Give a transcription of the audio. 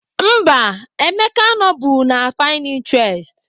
Mba, Emeka anọbu na Pinterest